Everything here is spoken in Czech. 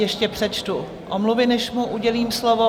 Ještě přečtu omluvy, než mu udělím slovo.